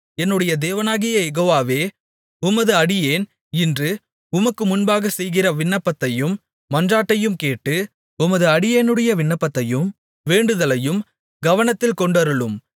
என்னுடைய தேவனாகிய யெகோவாவே உமது அடியேன் இன்று உமக்கு முன்பாக செய்கிற விண்ணப்பத்தையும் மன்றாட்டையும் கேட்டு உமது அடியேனுடைய விண்ணப்பத்தையும் வேண்டுதலையும் கவனத்தில் கொண்டருளும்